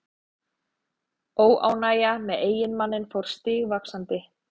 Óánægjan með eiginmanninn fór stigvaxandi.